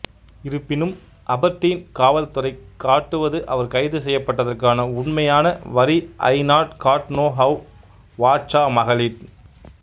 இருப்பினும் அபர்டீன் காவல்துறை காட்டுவது அவர் கைது செய்யப்பட்டதற்கான உண்மையான வரி ain't got no how whatchamacallit